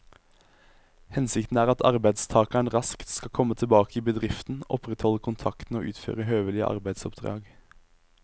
Hensikten er at arbeidstakeren raskt skal komme tilbake i bedriften, opprettholde kontakten og utføre høvelige arbeidsoppdrag.